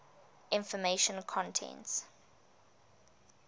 information content